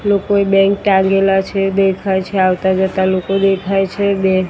લોકોએ ટાંગેલા છે દેખાય છે આવતા જતા લોકો દેખાય છે